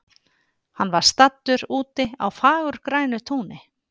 Hann var staddur úti á fagurgrænu túni.